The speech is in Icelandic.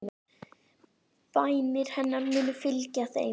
Bænir hennar munu fylgja þeim.